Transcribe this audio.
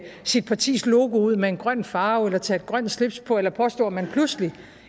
sit partis logo ud med en grøn farve eller tage et grønt slips på eller påstå at man pludselig